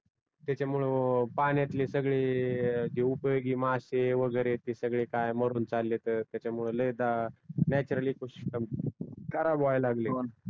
त्याच्यामू पण्यातले जे उपयोगी मषे वागरे ते काय मारून चाललेत त्याच्यामुळ लाय दा नॅच्युरली